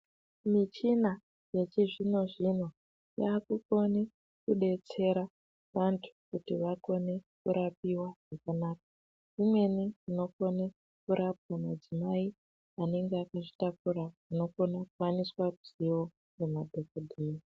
Michina yechizvinozvino yakukone kudetsera vantu kuti vakone kurapaiwa zvakanaka, imweni inokone kurapa madzimai anenge akazvitakura anokone kuwaniswe ruziyo ngemadhokodheya.